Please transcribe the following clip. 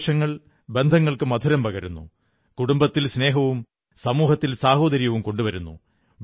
ആഘോഷങ്ങൾ ബന്ധങ്ങൾക്ക് മധുരം പകരുന്നു കുടുംബത്തിൽ സ്നേഹവും സമൂഹത്തിൽ സാഹോദര്യവും കൊണ്ടുവരുന്നു